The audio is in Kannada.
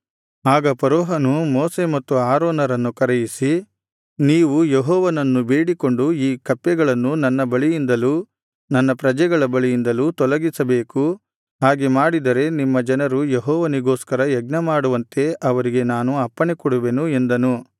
ಆಗ ಫರೋಹನು ಮೋಶೆ ಮತ್ತು ಆರೋನರನ್ನು ಕರೆಯಿಸಿ ನೀವು ಯೆಹೋವನನ್ನು ಬೇಡಿಕೊಂಡು ಈ ಕಪ್ಪೆಗಳನ್ನು ನನ್ನ ಬಳಿಯಿಂದಲೂ ನನ್ನ ಪ್ರಜೆಗಳ ಬಳಿಯಿಂದಲೂ ತೊಲಗಿಸಬೇಕು ಹಾಗೆ ಮಾಡಿದರೆ ನಿಮ್ಮ ಜನರು ಯೆಹೋವನಿಗೋಸ್ಕರ ಯಜ್ಞಮಾಡುವಂತೆ ಅವರಿಗೆ ನಾನು ಅಪ್ಪಣೆ ಕೊಡುವೆನು ಎಂದನು